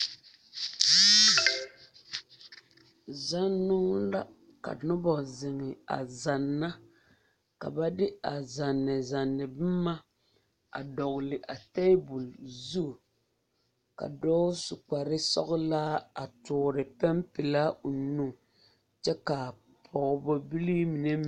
Zannoo la ka nobɔ a zeŋ a zanna ka ba de a zanzanne boma a dɔgle a tebol zu ka dɔɔ su kpare sɔglaa a tɔɔre pɛmpelaa nu kyɛ ka pɔgeba bilii mine.